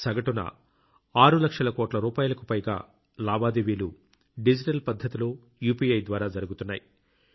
సగటున 6 లక్షల కోట్ల రూపాయలకు కు పైగా లావాదేవీలు డిజిటల్ పద్ధతిలో యూపీఐ ద్వారా జరుగుతున్నాయి